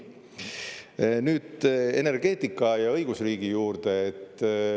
Nüüd energeetika ja õigusriigi juurde.